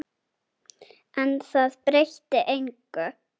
En það breytti engu.